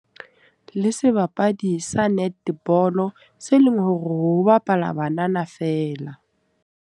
Le sebapadi sa netball, se leng hore ho bapala banana feela.